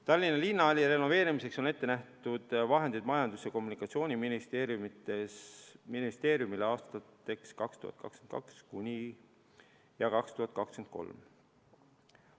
Tallinna Linnahalli renoveerimiseks on Majandus- ja Kommunikatsiooniministeeriumile vahendeid ette nähtud aastateks 2022 ja 2023.